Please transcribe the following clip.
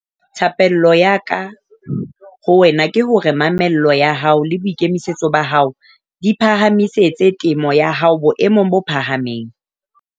Thapello ya ka ho wena ke hore mamello ya hao le boikemisetso ba hao di phahamisetse temo ya hao boemong bo phahameng.